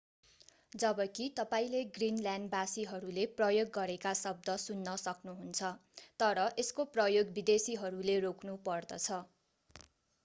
जबकि तपाईंले ग्रिनल्यान्ड वासीहरूले प्रयोग गरेका शब्द सुन्न सक्नुहुन्छ तर यसको प्रयोग विदेशीहरूले रोक्नु पर्दछ